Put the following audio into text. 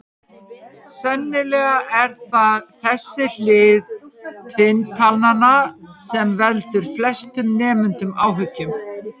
Sennilega er það þessi hlið tvinntalnanna sem veldur flestum nemendum áhyggjum.